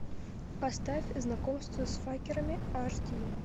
поставь знакомство с факерами аш ди